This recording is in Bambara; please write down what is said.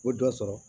O dɔ sɔrɔ